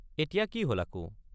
এতিয়া কি হল আকৌ?